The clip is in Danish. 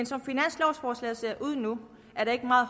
som finanslovforslaget ser ud nu er der ikke meget